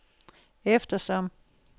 eftersom